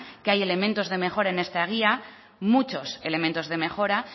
que hay elementos de mejora en esta guía muchos elementos de mejora